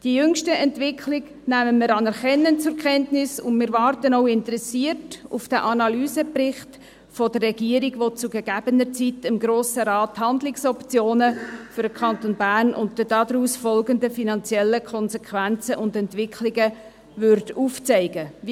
Die jüngste Entwicklung nehmen wir anerkennend zur Kenntnis und warten denn auch interessiert auf den Analysenbericht der Regierung, der zu gegebener Zeit dem Grossen Rat Handlungsoptionen für den Kanton Bern mit den daraus folgenden finanziellen Konsequenzen und Entwicklungen aufzeigen wird.